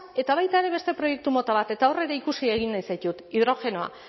eta baita ere beste proiektu mota bat eta hor ere ikusi egin nahi zaitut hidrogenoa